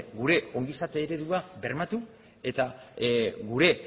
gure ongizate eredua bermatu eta gure